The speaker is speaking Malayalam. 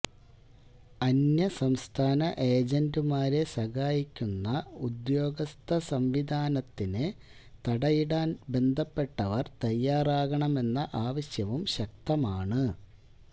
അന്യസംസ്ഥാന ഏജന്റുമാരെ സഹായിക്കുന്ന ഉദ്യോഗസ്ഥ സംവിധാനത്തിന് തടയിടാന് ബന്ധപ്പെട്ടവര് തയ്യാറാകണമെന്ന ആവശ്യവും ശക്തമാണ്